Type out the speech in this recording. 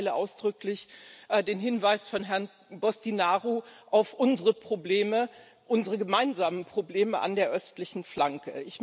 Ich teile ausdrücklich den Hinweis von Herrn Boştinaru auf unsere Probleme, unsere gemeinsamen Probleme an der östlichen Flanke.